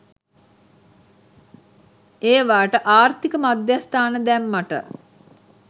ඒවාට ආර්ථික මධ්‍යස්ථාන දැම්මට